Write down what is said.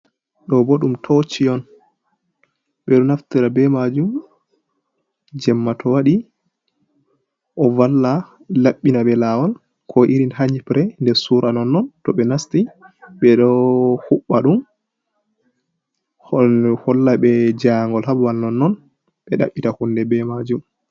Ɗo bo ɗum toci on, ɓe ɗo naftira ɓe maajum jemma to waɗi ɗo valla laɓɓina ɓe lawol, ko irin ha nyipre nder sura nonnon to ɓe nasti, ɓe ɗo huɓɓa ɗum holla ɓe jaingol ha babal nonnon, ɓe ɗaɓɓita hunde be maajum.